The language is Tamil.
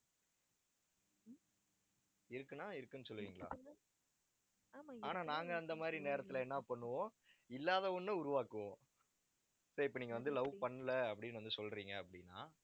இருக்குன்னா இருக்குன்னு சொல்லுவீங்களா ஆனால் நாங்க அந்த மாதிரி நேரத்துல என்ன பண்ணுவோம் இல்லாத ஒண்ணை உருவாக்குவோம் say இப்ப நீங்க வந்து, love பண்ணலை அப்படின்னு வந்து சொல்றீங்க அப்பிடின்னா